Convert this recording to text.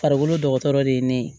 Farikolo dɔgɔtɔrɔ de ye ne ye